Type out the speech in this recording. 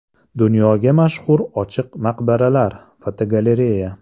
Dunyoga mashhur ochiq maqbaralar (fotogalereya).